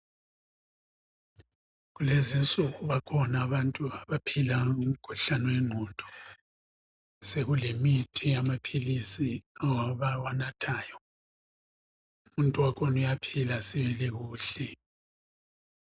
Kulezi nsuku bakhona abantu abaphila ngomkhuhlane wenqondo sekulemithi, amaphilisi abawanathayo umuntu wakhona uyaphila sibili kuhle